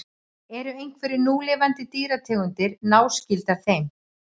Eru einhverjar núlifandi dýrategundir náskyldar þeim?